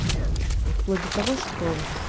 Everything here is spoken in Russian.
в плане того что